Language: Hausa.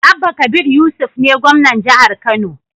Abba kabir yusuf ne gwamnan jahar kano